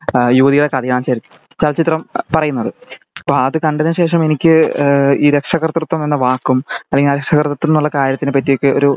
യുവതിയുടെ കഥയാണ് ശെരിക്ക് ചലച്ചിത്രം പറയണത് ശെരിക്ക് അപ്പൊ അത് കണ്ടതിനു ശേഷം എനിക്ക് എഹ് ഈ രക്ഷാകർത്തിതം എന്ന വക്കും അലക്കി ഈ രക്ഷാകർത്തിതം എന്ന കാര്യത്തിനെ പാട്ടി ഒക്കെ ഒരു